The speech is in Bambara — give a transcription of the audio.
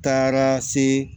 Taara se